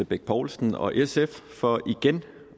bech poulsen og sf for igen